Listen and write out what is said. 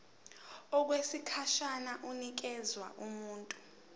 okwesikhashana inikezwa abantu